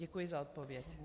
Děkuji za odpověď.